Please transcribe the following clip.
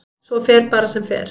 Svo fer bara sem fer.